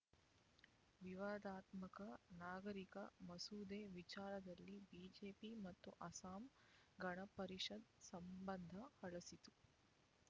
ವಿವಾದಾತ್ಮಕ ನಾಗರಿಕ ಮಸೂದೆ ವಿಚಾರದಲ್ಲಿ ಬಿಜೆಪಿ ಮತ್ತು ಅಸ್ಸಾಂ ಗಣ ಪರಿಷತ್ ಸಂಬಂಧ ಹಳಸಿತ್ತು